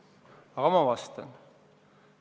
Aga ma vastan.